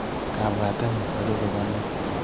Kabwatenyu nerube ko neee/